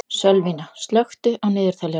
Sölvína, slökktu á niðurteljaranum.